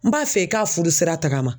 N b'a fɛ i k'a furu sira tagama